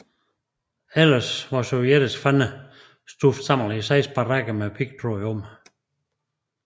Ellers var sovjetiske fanger stuvet sammen i seks barakker med pigtråd om